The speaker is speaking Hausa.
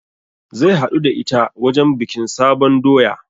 Zai haɗu da ita wajen bikin sabon doya